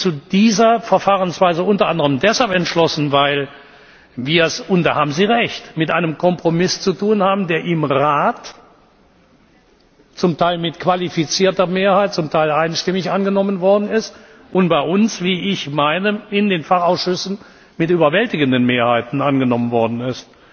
Ich habe mich unter anderem deshalb zu dieser Verfahrensweise entschlossen, weil wir es und da haben Sie Recht mit einem Kompromiss zu tun haben, der im Rat zum Teil mit qualifizierter Mehrheit, zum Teil einstimmig angenommen worden ist und bei uns wie ich meine in den Fachausschüssen mit überwältigenden Mehrheiten angenommen worden ist.